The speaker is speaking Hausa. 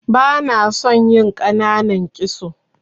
Bana son yin ƙananan kitso.